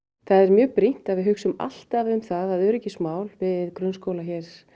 það er mjög brýnt að við hugsum alltaf um það að öryggismál við grunnskóla